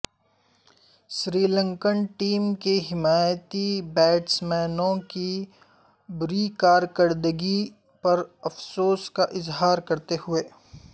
سری Lankan team کے حمایتی بیٹسمینوں کی بری کارکردگی پر افسوس کا اظہار کرتے ہوئے